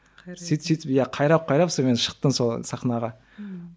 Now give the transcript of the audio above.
сөйтіп сөйтіп иә қайрап қайрап сонымен шықтым сол сахнаға ммм